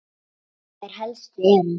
Þær helstu eru